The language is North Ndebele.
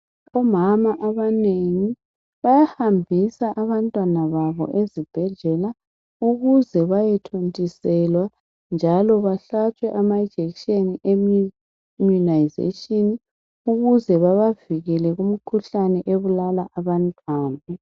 Omama abanengi bahambisa abantwana babo ezibhedlela ukuze baye thontiselwa njalo bahlatshwe amajekiseni immunization, ukuze babavikele kumkhuhlaneni ebulala abantwana.